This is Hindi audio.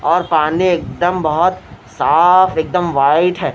और पानी एकदम बहोत साफ एकदम व्हाइट है।